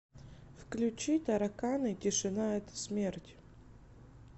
включи тараканы тишина это смерть